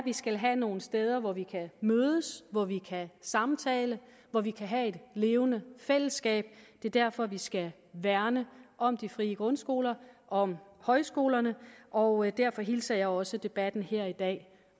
vi skal have nogle steder hvor vi kan mødes hvor vi kan samtale hvor vi kan have et levende fællesskab det er derfor vi skal værne om de frie grundskoler og om højskolerne og derfor hilser jeg også debatten her i dag